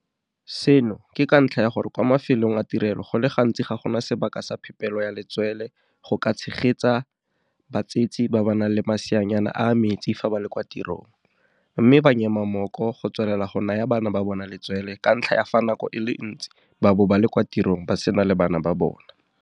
Seno ke ka ntlha ya gore kwa mafelong a tirelo go le gantsi ga gona sebaka sa phepelo ya letswele go ka tshegetsa batsetse ba ba nang le maseanyana a a metsi fa ba le kwa tirong, mme ba nyema mmoko go tswelela go naya bana ba bona letswele ka ntlha ya fa nako e le ntsi ba bo ba le kwa tirong ba sena le bana ba bona.